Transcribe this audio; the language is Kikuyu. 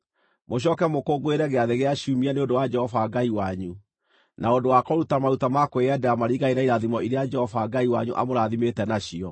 Mũcooke mũkũngũĩre Gĩathĩ gĩa Ciumia nĩ ũndũ wa Jehova Ngai wanyu, na ũndũ wa kũruta maruta ma kwĩyendera maringaine na irathimo iria Jehova Ngai wanyu amũrathimĩte nacio.